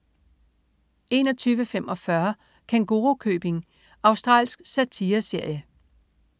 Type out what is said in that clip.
21.45 Kængurukøbing. Australsk satireserie